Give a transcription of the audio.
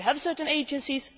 funds. We have certain